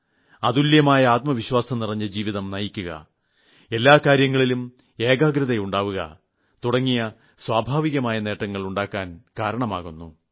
അതുല്യമായ ആത്മവിശ്വാസം നിറഞ്ഞ ജീവിതം നയിക്കുക എല്ലാ കാര്യങ്ങളിലും ഏകാഗ്രത ഉണ്ടാവുക തുടങ്ങിയ സ്വാഭാവികമായ നേട്ടങ്ങൾ ഉണ്ടാക്കാൻ കാരണമാകുു